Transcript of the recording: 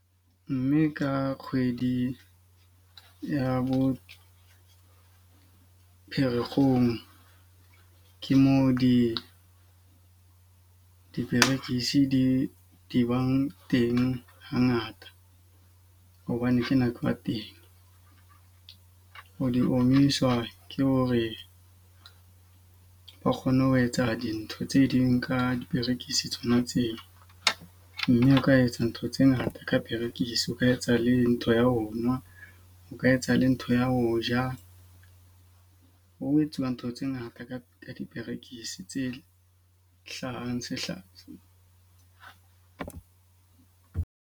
Mme ka kgwedi ya bo Pherekgong, ke moo di diperekisi di di bang teng ha ngata. Hobane kena ke wa teng. O di omiswa ke hore ba kgone ho etsa dintho tse ding ka diperekisi tsona tseo. Mme o ka etsa ntho tse ngata ka perekise o ka etsa le ntho ya ho nwa, o ka etsahala ntho ya ho ja. Ho etsuwa ntho tse ngata ka ka diperekisi tse hlahang .